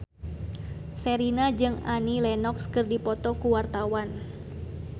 Sherina jeung Annie Lenox keur dipoto ku wartawan